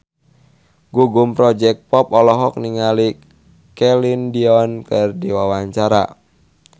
Gugum Project Pop olohok ningali Celine Dion keur diwawancara